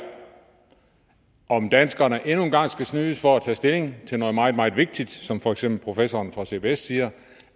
om danskerne endnu en gang skal snydes for at tage stilling til noget meget meget vigtigt som for eksempel professoren fra cbs siger